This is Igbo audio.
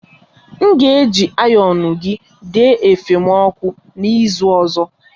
M ga-eji ayonu gị dee efe m ọkụ na ịzụ ọzọ.